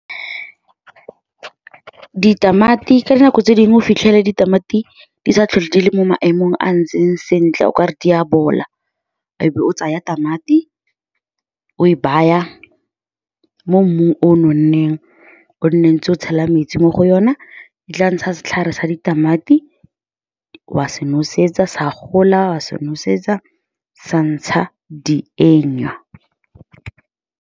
Ka dinako tse dingwe o fitlhela ditamati di sa tlhole di le mo maemong a ntseng sentle. O ka re di a bola, o be o tsaya tamati, o e baya mo mmung o nonneng, o nne o ntse o tshela metsi mo go yona. E tla ntsha setlhare sa ditamati, wa se nosetsa, sa gola, wa se nosetsa, sa ntsha dienywa.